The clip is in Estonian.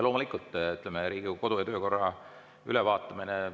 Loomulikult, Riigikogu kodu‑ ja töökorra ülevaatamine.